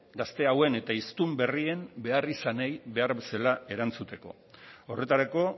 gazte hauen eta hiztun berrien beharrizanei behar bezala erantzuteko horretarako